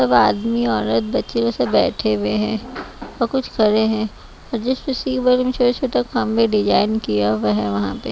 सब आदमी औरत बच्चे सब बैठे हुए हैं और कुछ खड़े हैं और छोटा छोटा कम में डिजाइन किया हुआ है वहां पे--